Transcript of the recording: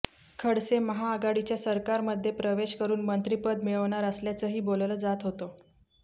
खडसे महाआघाडीच्या सरकारमध्ये प्रवेश करून मंत्रीपद मिळवणार असल्याचंही बोललं जात होतं